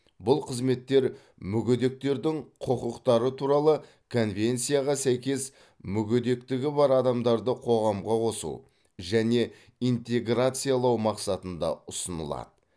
бұл қызметтер мүгедектердің құқықтары туралы конвенцияға сәйкес мүгедектігі бар адамдарды қоғамға қосу және интеграциялау мақсатында ұсынылады